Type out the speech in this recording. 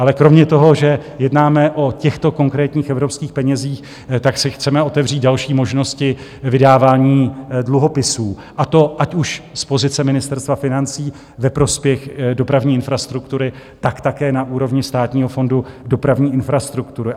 Ale kromě toho, že jednáme o těchto konkrétních evropských penězích, tak se chceme otevřít další možnosti vydávání dluhopisů, a to ať už z pozice Ministerstva financí ve prospěch dopravní infrastruktury, tak také na úrovni Státního fondu dopravní infrastruktury.